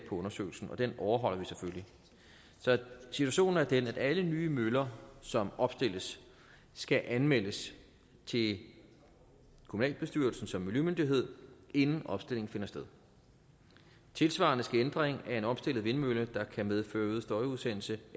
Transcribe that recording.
undersøgelsen den overholder vi selvfølgelig så situationen er den at alle nye møller som opstilles skal anmeldes til kommunalbestyrelsen som miljømyndighed inden opstilling finder sted tilsvarende skal ændring af en opstillet vindmølle der kan medføre øget støjudsendelse